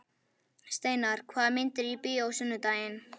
Steinar, hvaða myndir eru í bíó á sunnudaginn?